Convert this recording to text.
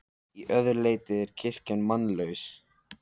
Að öðru leyti er kirkjan mannlaus.